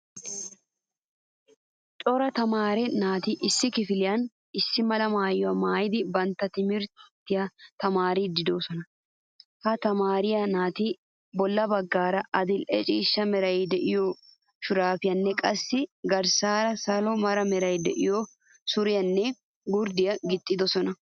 Cora tamaare naati issi kifiliyan issi mala maayuwaa maayidi bantta timirttiya tamaaridi deosona. Ha tamaare naati bolla baggaara adil'ee ciishsha meray de'iyo shurabiyanne qassi garssaara salo meray de'iyo suriyanne gurddiya gixxidosona.